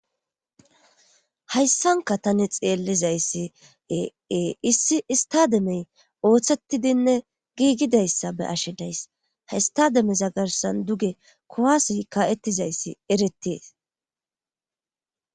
hayssanka tani xeellizayssi eeissi istademey ooththettidinne giigidayssa be ashi days ha istademeza garsan duge kowasi ka7ettizayssi erettees